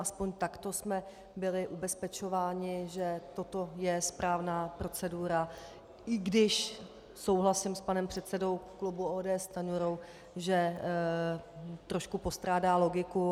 Aspoň takto jsme byli ubezpečováni, že toto je správná procedura, i když souhlasím s panem předsedou klubu ODS Stanjurou, že trošku postrádá logiku.